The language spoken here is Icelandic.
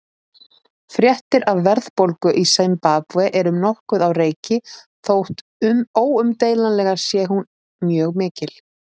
Fréttir af verðbólgu í Simbabve eru nokkuð á reiki þótt óumdeilanlega sé hún mjög mikil.